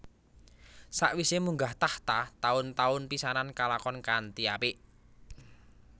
Sawise munggah tahta taun taun pisanan kalakon kanthi apik